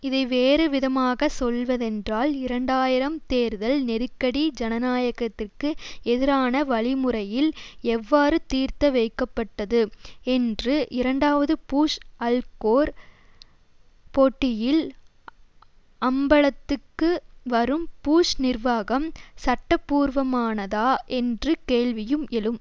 இதை வேறு விதமாகச் சொல்வதென்றால் இரண்டாயிரம் தேர்தல் நெருக்கடி ஜனநாயகத்திற்கு எதிரான வழிமுறையில் எவ்வாறு தீர்த்தத வைக்கப்பட்டது என்று இரண்டாவது பூஷ் அல்கோர் போட்டியில் அம்பலத்துக்கு வரும் பூஷ் நிர்வாகம் சட்டப்பூர்வமானதா என்று கேள்வியும் எழும்